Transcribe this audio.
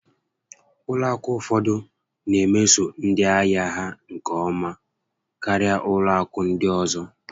Ụlọ akụ ụfọdụ na emeso ndị ahịa ha nke ọma karịa ụlọ akụ ndị ọzọ